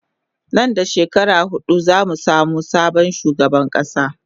Nan da shekara hudu zamu samu sabon shugaban kasa